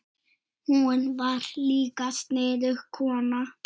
Hún var líka sniðug kona.